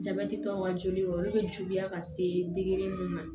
Jabɛti tɔ ka joli olu bɛ juguya ka se degere min ma